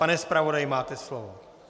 Pane zpravodaji, máte slovo.